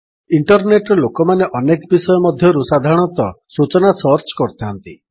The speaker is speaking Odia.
ଇଣ୍ଟରନେଟ୍ ରେ ଲୋକମାନେ ଅନେକ ଜିନିଷ ମଧ୍ୟରୁ ସାଧାରଣତଃ ସୂଚନା ସର୍ଚ୍ଚ କରିଥାନ୍ତି